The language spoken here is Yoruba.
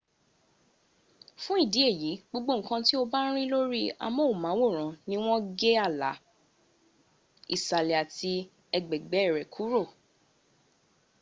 fun idi eyi gbogbo nkan ti o ba n ri lori amohunmaworan ni won ge ala okoe isale ati egbegbe re kuro